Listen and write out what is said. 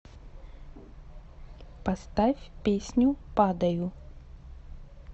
поставь песню падаю